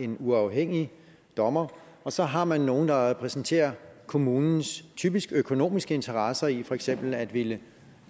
en uafhængig dommer og så har man nogle der repræsenterer kommunens typisk økonomiske interesser i for eksempel at ville